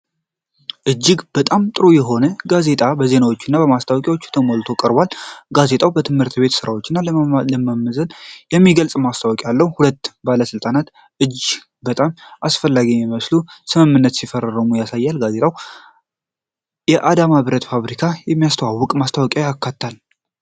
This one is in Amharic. እጅግ በጣም ጥሩ የሆነ ጋዜጣ በዜናዎች እና ማስታወቂያዎች ተሞልቶ ቀርቧል። ጋዜጣው የትምህርት ቤት ሥራዎችን ስለማዘመን የሚገልጽ ማስታወቂያ አለው፤ ሁለት ባለስልጣናት እጅግ በጣም አስፈላጊ የሚመስሉ ስምምነቶችን ሲፈርሙ ይስተዋላሉ። ጋዜጣው የአዳማ ብረት ፋብሪካን የሚያስተዋውቅ ማስታወቂያም አካቷል።